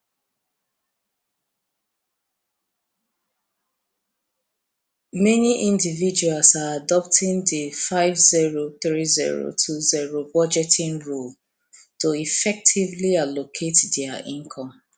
many individuals are adopting di five zero three zero two zerobudgeting rule to effectively allocate dia income